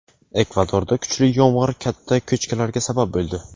Ekvadorda kuchli yomg‘ir katta ko‘chkilarga sabab bo‘ldi.